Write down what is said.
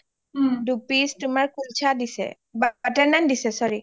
দু piece তোমাৰ কুলচা দিছে butter naan দিছে sorry